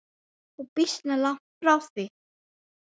Og býsna langt frá því.